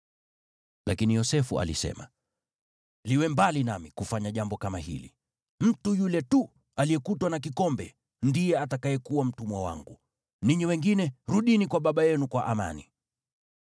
Lakini Yosefu alisema, “Liwe mbali nami kufanya jambo kama hili! Mtu yule tu aliyekutwa na kikombe ndiye atakayekuwa mtumwa wangu. Ninyi wengine, rudini kwa baba yenu kwa amani.”